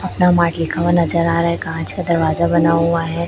अपना मार्ट लिखा हुआ नजर आ रहा है कांच का दरवाजा बना हुआ है।